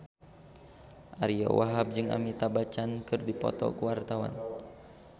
Ariyo Wahab jeung Amitabh Bachchan keur dipoto ku wartawan